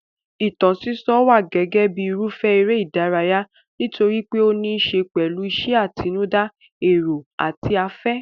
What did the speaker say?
Ìtàn sísọ wà gẹ́gẹ́ bíi irúfẹ́ eré ìdárayá nítorí pé ó níí ṣe pẹ̀lú ìṣe àtinúdá, èrò àti afẹ́.